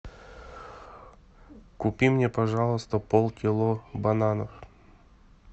купи мне пожалуйста полкило бананов